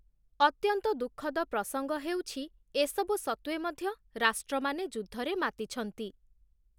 ଅତ୍ୟନ୍ତ ଦୁଃଖଦ ପ୍ରସଙ୍ଗ ହେଉଛି ଏସବୁ ସତ୍ତ୍ଵେ ମଧ୍ୟ ରାଷ୍ଟ୍ରମାନେ ଯୁଦ୍ଧରେ ମାତିଛନ୍ତି ।